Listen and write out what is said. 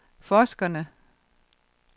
forskerne